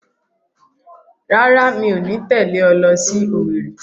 Rárá, mi ò ní tẹ̀lé ọ lọ sí Owerri